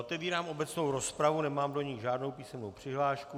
Otevírám obecnou rozpravu, nemám do ní žádnou písemnou přihlášku.